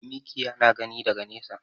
Mikiya na gani daga nesa.